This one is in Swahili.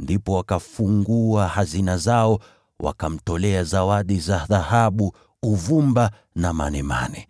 Ndipo wakafungua hazina zao, wakamtolea zawadi za dhahabu, uvumba na manemane.